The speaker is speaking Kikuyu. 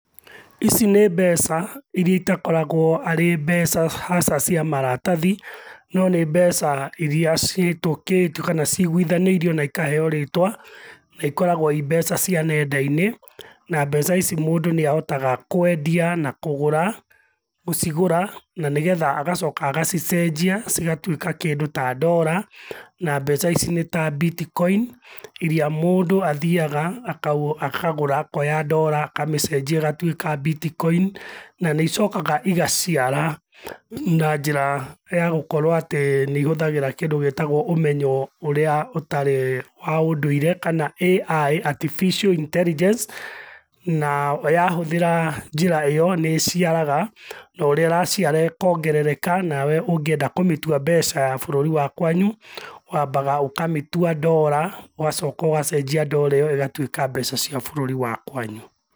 Ici nĩ mbeca irĩa itakoragwo arĩ mbeca haca cia maratathi, no nĩ mbeca irĩa cihĩtũkĩtio kana cigũithanĩirio na ikaheo rĩtwa, naikoragwo ci mbeca cia nenda-inĩ. Na mbeca ici mũndũ nĩahotaga kwendia na kũgũra, gũcigũra nĩgetha agacoka agacicenjia cigatũĩka kindũ ta ndora na mbeca ici nĩ ta bitcoin irĩa mũndũ athiaga akagũra akoya ndora akamĩcenjia igatuĩka bitcoin, nanĩicokaga igaciara na njĩra ya gũkorwo atĩ nĩihũthagĩra kĩndũ gitagwo ũmenyo ũrĩa ũtarĩ wa ũndũire kana AI, Artificial Intelligence na ya hũthĩra njĩra iyo nĩciaraga, o ũrĩa ĩraciara ĩkongerereka, nawe ũngĩenda kũmĩtũa mbeca ta ya bũrũri wa kwanyu wambaga ũkamĩtũa ndora ũgacoka ũgacenjĩa ndora iyo igatuĩka mbeca cia bũrũri wa kwanyu.